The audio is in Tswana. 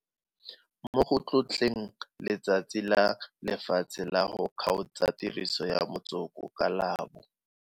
Mo go tlotleng Letsatsi la Lefatshe la go Kgaotsa Tiriso ya Motsoko ka la bo.